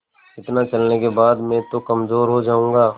इतना चलने के बाद मैं तो कमज़ोर हो जाऊँगा